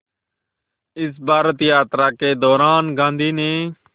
इस भारत यात्रा के दौरान गांधी ने